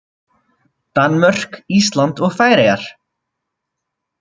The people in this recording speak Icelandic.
Danmörk, Ísland og Færeyjar.